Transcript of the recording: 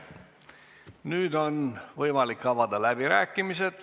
Nüüd on võimalik avada läbirääkimised.